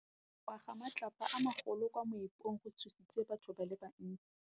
Go wa ga matlapa a magolo ko moepong go tshositse batho ba le bantsi.